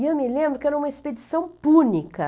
E eu me lembro que era uma expedição púnica.